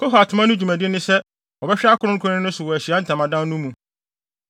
“Kohat mma no dwumadi ne sɛ wɔbɛhwɛ akronkronne no so wɔ Ahyiae Ntamadan no mu.